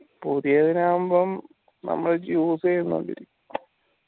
പുതിയതിനാവുമ്പം നമ്മൾ use യ്‌ന പോലിരിക്കും